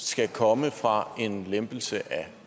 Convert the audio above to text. skal komme fra en lempelse af